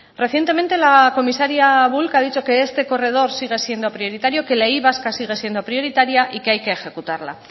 recientemente la comisaria bulc ha dicho que este corredor sige siendo prioritario que la y vasca sigue siendo prioritaria y que hay que ejecutarla